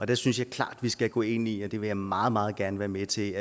der synes jeg klart vi skal gå ind i og det vil jeg meget meget gerne være med til